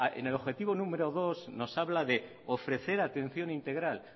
en el objetivo número dos nos habla de ofrecer atención integral